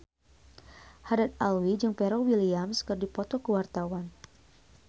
Haddad Alwi jeung Pharrell Williams keur dipoto ku wartawan